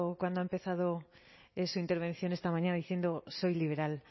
cuando ha empezado su intervención esta mañana diciendo soy liberal